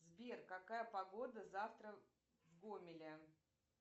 сбер какая погода завтра в гомеле